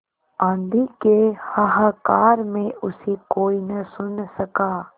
आँधी के हाहाकार में उसे कोई न सुन सका